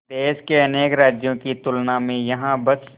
देश के अनेक राज्यों की तुलना में यहाँ बस